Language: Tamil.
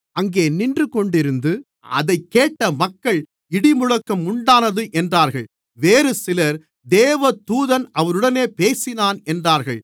அங்கே நின்று கொண்டிருந்து அதைக் கேட்ட மக்கள் இடிமுழக்கம் உண்டானது என்றார்கள் வேறுசிலர் தேவதூதன் அவருடனே பேசினான் என்றார்கள்